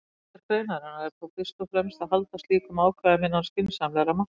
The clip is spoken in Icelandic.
Hlutverk greinarinnar er þó fyrst og fremst að halda slíkum ákvæðum innan skynsamlegra marka.